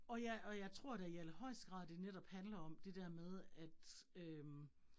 Og jeg og jeg tror da i allerhøjeste grad det netop handler om det der med at øh